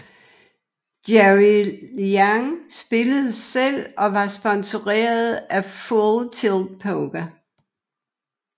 Jerry Yang spillede selv og var sponsoreret af Full Tilt Poker